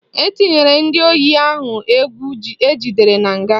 Etinyere ndị oyi ndụ egwu ejidere na nga